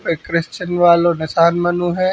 एक क्रिश्चियन वालो ने स्थान बनो है।